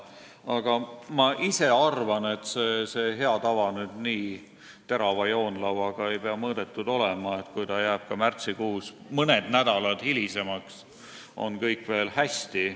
Aga ma ise arvan, et see hea tava ei pea olema nüüd nii terava joonlauaga mõõdetud, sest kui ta jääb ka märtsikuus mõned nädalad hilisemaks, on kõik veel hästi.